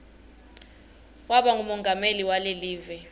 waba ngumongameli walekive